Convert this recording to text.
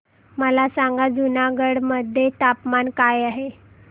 मला सांगा जुनागढ मध्ये तापमान काय आहे